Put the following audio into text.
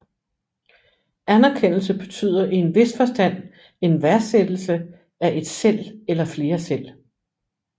Anerkendelse betyder i en vis forstand en værdsættelse af et selv eller flere selv